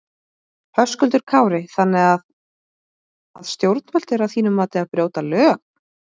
Höskuldur Kári: Þannig að að stjórnvöld eru að þínu mati að að brjóta lög?